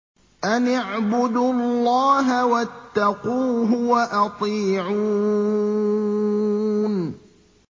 أَنِ اعْبُدُوا اللَّهَ وَاتَّقُوهُ وَأَطِيعُونِ